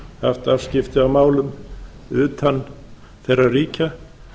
haft afskipti af málum utan þeirra ríkja